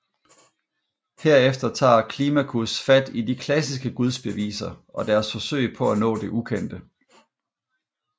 Herefter tager Climacus fat i de klassiske gudsbeviser og deres forsøg på at nå det ukendte